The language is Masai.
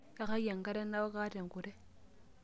Yakaki enkare naok, kaata enkure.